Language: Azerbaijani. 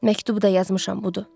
Məktub da yazmışam, budur.